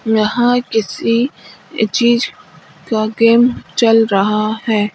यहां किसी चीज का गेम चल रहा है।